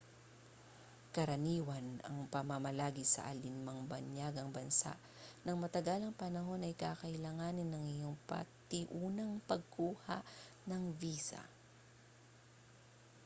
karaniwan ang pamamalagi sa alin mang banyagang bansa nang matagalang panahon ay kakailanganin ang iyong patiunang pagkuha ng visa